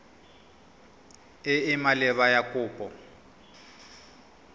e e maleba ya kopo